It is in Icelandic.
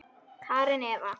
Karen Eva.